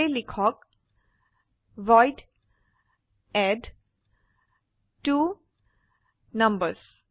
সেয়ে লিখক ভইড এডট্বনাম্বাৰ্ছ